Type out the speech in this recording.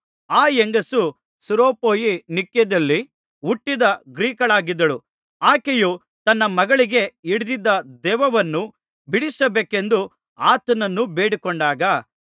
ಆ ಹೆಂಗಸು ಸುರೋಪೊಯಿನಿಕ್ಯದಲ್ಲಿ ಹುಟ್ಟಿದ ಗ್ರೀಕಳಾಗಿದ್ದಳು ಆಕೆಯು ತನ್ನ ಮಗಳಿಗೆ ಹಿಡಿದಿದ್ದ ದೆವ್ವವನ್ನು ಬಿಡಿಸಬೇಕೆಂದು ಆತನನ್ನು ಬೇಡಿಕೊಂಡಾಗ